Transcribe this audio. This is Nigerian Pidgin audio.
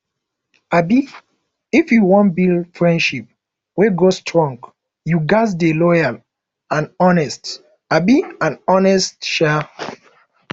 um if you wan build friendship wey go strong you ghas dey loyal and honest um and honest um